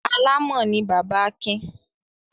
Alámọ̀ ni bàbá Akin.